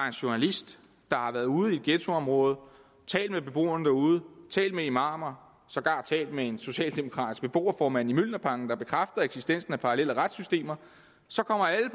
en journalist der har været ude i et ghettoområde talt med beboerne derude talt med imamer og sågar talt med en socialdemokratisk beboerformand i mjølnerparken der bekræfter eksistensen af parallelle retssystemer så kommer alle